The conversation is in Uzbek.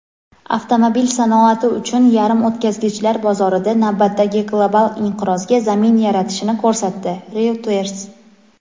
avtomobil sanoati uchun yarimo‘tkazgichlar bozorida navbatdagi global inqirozga zamin yaratishini ko‘rsatdi – "Reuters".